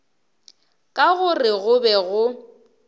ka gore go be go